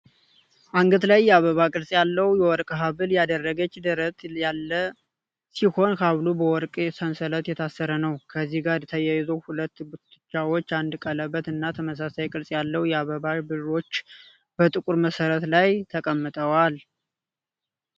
አንገት ላይ የአበባ ቅርጽ ያለው የወርቅ ሐብል ያደረገች ደረት ያለ ሲሆን ሐብሉ በወርቅ ሰንሰለት የታሰረ ነው። ከዚህ ጋር ተያይዞ ሁለት ጉትቻዎች፣ አንድ ቀለበት እና ተመሳሳይ ቅርጽ ያለው የአበባ ብሮሽ በጥቁር መሠረት ላይ ተቀምተጠዋል።